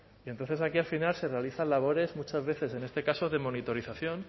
y entonces aquí al final se realizan labores muchas veces en este caso de monitorización